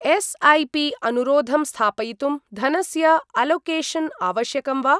एस्.ऐ.पि.अनुरोधं स्थापयितुं धनस्य अलोकेशन् आवश्यकं वा?